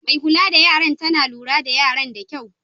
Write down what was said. Mai kulla da yaran tana lura da yaran da kyau.